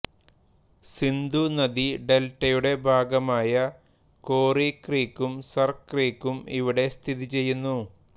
സിന്ധു നദി ഡെൽറ്റയുടെ ഭാഗമായ കോറി ക്രീക്കും സർ ക്രീക്കും ഇവിടെ സ്ഥിതി ചെയ്യുന്നു